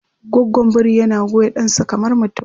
Gwaggon biri yana goya ɗansa kamar mutum.